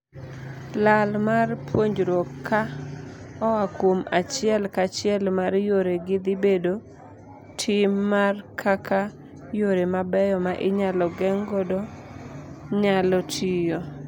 Lal mar puonjruok ka oaa kuom achiel kachiel mar yore gii dhii bedo tim mar kaka yore mabeyo ma inyalo geng' godo nyalo tiyo.